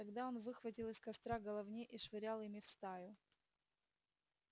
тогда он выхватывал из костра головни и швырял ими в стаю